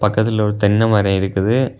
பக்கத்துலெ ஒரு தென்னை மரம் இருக்குது.